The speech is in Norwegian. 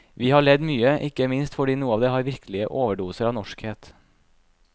Vi har ledd mye, ikke minst fordi noe av det har virkelige overdoser av norskhet.